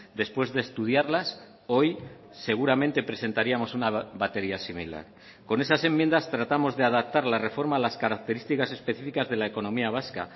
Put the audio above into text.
después de estudiarlas hoy seguramente presentaríamos una batería similar con esas enmiendas tratamos de adaptar la reforma a las características específicas de la economía vasca